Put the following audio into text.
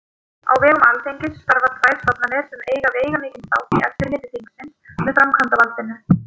Á vegum Alþingis starfa tvær stofnanir sem eiga veigamikinn þátt í eftirliti þingsins með framkvæmdarvaldinu.